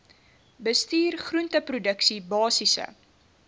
bestuur groenteproduksie basiese